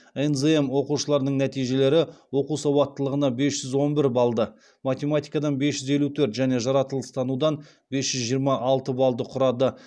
нзм оқушыларының нәтижелері оқу сауаттылығынан бес жүз он бір балды математикадан бес жүз елу төрт және жаратылыстанудан бес жүз жиырма алты балды құрады